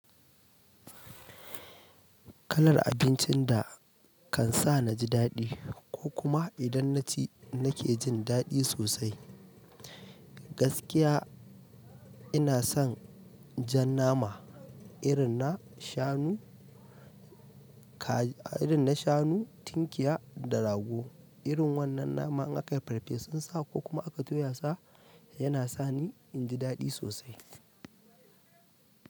Kalar abincin da kan sa na ji daɗi ko kuma idan na ci na ke jin daɗi sosai, gaskiya ina son jan nama irin na shanu, kaji, irin na shanu, tunkiya da rago. Irin wannan nama in akai farfesun sa ko kuma aka toya sa yana sa ni in ji daɗi sosai.